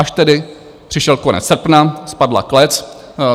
Až tedy přišel konec srpna, spadla klec.